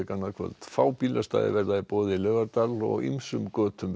annað kvöld fá bílastæði verða í boði í Laugardal og ýmsum götum